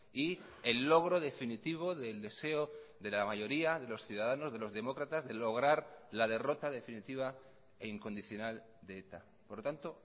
y el logro definitivo del deseo de la mayoría de los ciudadanos de los demócratas de lograr la derrota definitiva e incondicional de eta por lo tanto